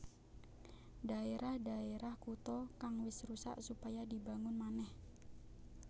Dhaerah dhaerah kutha kang wis rusak supaya dibangun manèh